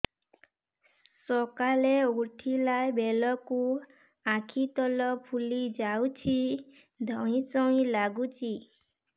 ସକାଳେ ଉଠିଲା ବେଳକୁ ଆଖି ତଳ ଫୁଲି ଯାଉଛି ଧଇଁ ସଇଁ ଲାଗୁଚି